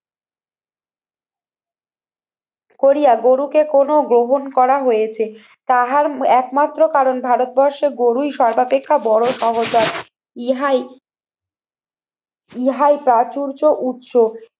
করিয়া গরুকে কোনো গ্রহণ করা হয়েছে তাহার একমাত্র কারণ ভারতবর্ষে গরুই সর্বাপেক্ষা বড় সহজ হয়। ইহাই ইহাই প্রাচুর্য, উৎস